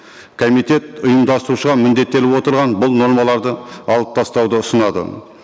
комитет ұйымдастырушыға міндеттеліп отырған бұл нормаларды алып тастауды ұсынады